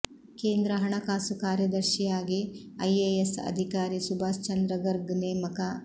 ಕೇಂದ್ರ ಹಣಕಾಸು ಕಾರ್ಯದರ್ಶಿಯಾಗಿ ಐಎಎಸ್ ಅಧಿಕಾರಿ ಸುಭಾಷ್ ಚಂದ್ರ ಗರ್ಗ್ ನೇಮಕ